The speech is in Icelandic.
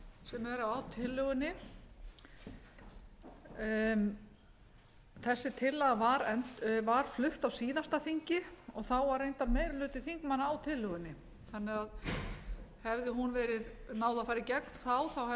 sem eru á tillögunni þessi tillaga var flutt á síðasta þingi og þá var reyndar meiri hluti þingmanna á tillögunni þannig að hefði hún náð að að í gegn þá hefði